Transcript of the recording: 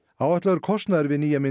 áætlaður kostnaður við nýja